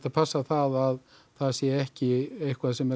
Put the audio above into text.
passa það að það sé ekki eitthvað sem er